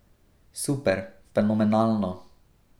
Super, fenomenalno.